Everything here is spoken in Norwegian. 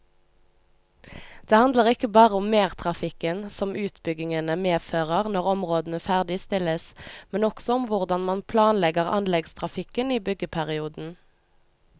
Det handler ikke bare om mertrafikken som utbyggingene medfører når områdene ferdigstilles, men også om hvordan man planlegger anleggstrafikken i byggeperioden.